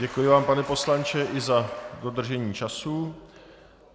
Děkuji vám, pane poslanče, i za dodržení času.